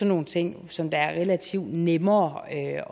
nogle ting som det er relativt nemmere at